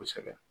Kosɛbɛ